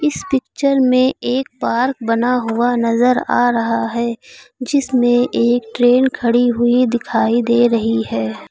इस पिक्चर में एक पार्क बना हुआ नजर आ रहा है जीसमें एक ट्रेन खड़ी हुई दिखाई दे रही है।